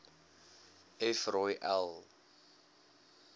f rooi l